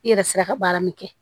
I yɛrɛ sera ka baara min kɛ